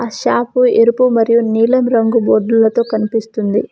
Shop ఎరుపు మరియు నీలం రంగు బోర్డులతో కనిపిస్తుంది.